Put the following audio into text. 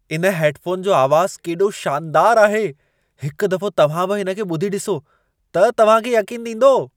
इन हैडफोन जो आवाज़ केॾो शानदार आहे! हिक दफो तव्हां बि हिन खे ॿुधी ॾिसो त तव्हां खे यक़ीन ईंदो।